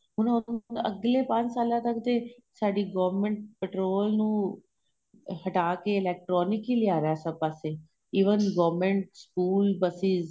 ਹੁਣ ਅੱਗਲੇ ਪੰਜ ਸਾਲਾਂ ਤੱਕ ਤੇ ਸਾਡੀ government petrol ਨੂੰ ਹਟਾਂ ਕੇ electronic ਹੀ ਲਿਆਂ ਰਹਿਆ ਸਭ ਪਾਸੇ even government ਸਕੂਲ buses